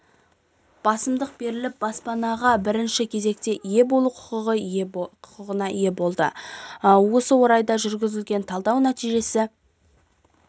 басымдық беріліп баспанаға бірінші кезекте ие болу құқығына ие болды осы орайда жүргізген талдау нәтижесі